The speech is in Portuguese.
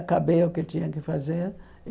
Acabei o que tinha que fazer.